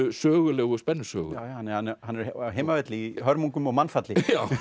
sögulegu spennusögu hann er á heimavelli í hörmungum og mannfalli